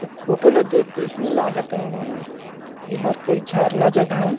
एक फोटो ला देख के ऐसने लागत हे गा एहर कोई झरना जगह ये।